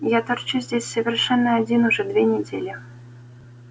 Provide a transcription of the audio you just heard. я торчу здесь совершенно один уже две недели